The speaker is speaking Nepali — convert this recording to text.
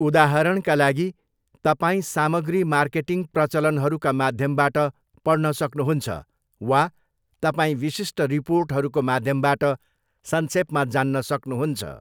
उदाहरणका लागि, तपाईँ सामग्री मार्केटिङ प्रचलनहरूका माध्यमबाट पढ्न सक्नुहुन्छ, वा तपाईँ विशिष्ट रिपोर्टहरूको माध्यमबाट संक्षेपमा जान्न सक्नुहुन्छ।